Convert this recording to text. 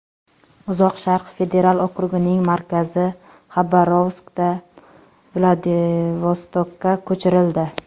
Uzoq Sharq federal okrugining markazi Xabarovskdan Vladivostokka ko‘chirildi.